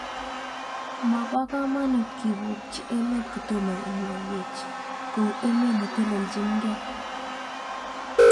Mapo kamanut kipokchi emenhl kotomo kemwaiwech, kou emet netelelchin gei.